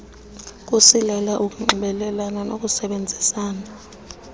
kusilela ukunxibelelana nokusebenzisana